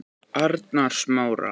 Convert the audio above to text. Arnarsmára